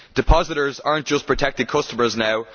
Depositors are not just protected customers now